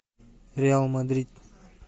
реал мадрид